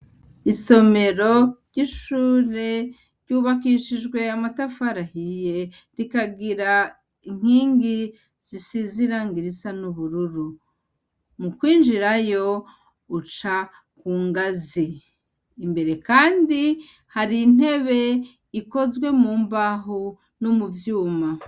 Isomero ry'ishure ryubakishijwe amatafari ahiye, ikagira inkingi zisize irangi risa n'ubururu. Mu kwinjira yo, uca ku ngazi. Imbere kandi har'intebe ikozwe mu mbaho no mu vyuma.